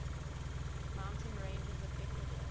mountain ranges of ecuador